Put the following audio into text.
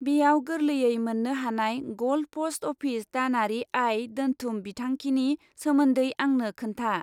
बेयाव गोरलैयै मोन्नो हानाय गल्ड प'स्ट अफिस दानारि आय दोन्थुम बिथांखिनि सोमोन्दै आंनो खोन्था!